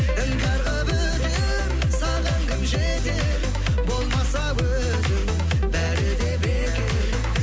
іңкәр қылып өтер саған кім жетер болмаса өзің бәрі де бекер